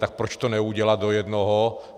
Tak proč to neudělat do jednoho?